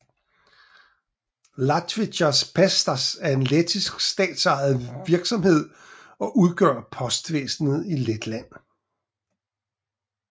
Latvijas Pasts er en lettisk statsejet virksomhed og udgør postvæsenet i Letland